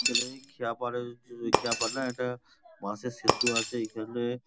খেলেই খেয়াপা্ডা-এ খেয়াপাড় না একটা বাঁশের সেতু আছে এইখানে --